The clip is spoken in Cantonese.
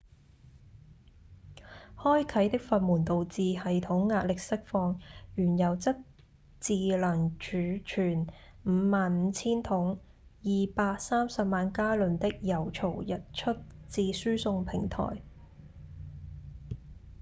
開啟的閥門導致系統壓力釋放原油則自能儲存 55,000 桶230萬加侖的油槽溢出至輸送平台